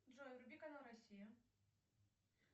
джой вруби канал россия